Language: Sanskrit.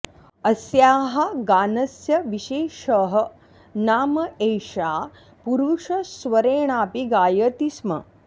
अस्याः गानस्य विशेषः नाम एषा पुरुषस्वरेणापि गायति स्म